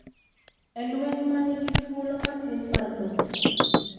En lweny ma nigi thuolo matin mar locho.